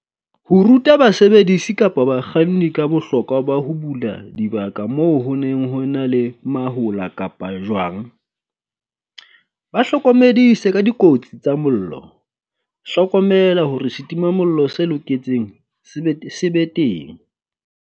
Ho ruta basebedisi kapa bakganni ka bohlokwa ba ho bula dibaka moo ho neng ho na le mahola kapa jwang. Ba hlokomedise ka dikotsi tsa mollo. Hlokomela hore setimamollo se loketseng se be te se be teng.